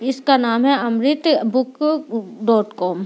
इसका नाम है अमृत बुक डॉट कोम --